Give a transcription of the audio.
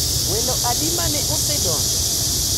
Welo adi ma ne osedonjo?